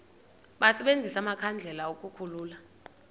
basebenzise amakhandlela ukukhulula